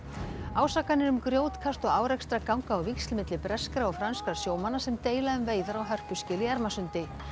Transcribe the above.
ásakanir um grjótkast og árekstra ganga á víxl milli breskra og franskra sjómanna sem deila um veiðar á hörpuskel í Ermarsundi